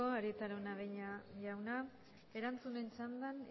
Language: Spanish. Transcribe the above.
arieta araunabeña jauna erantzunen txandan